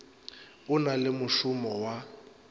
o na le mošomo wa